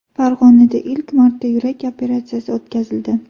Farg‘onada ilk marta yurak operatsiyasi o‘tkazildi.